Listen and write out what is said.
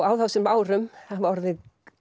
á þessum ára hafa orðið